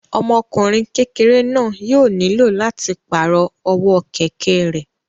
Ọmọkùnrin kékeré náà yóò nílò láti pàrọ̀ ọwọ́ kẹ̀kẹ́ rẹ̀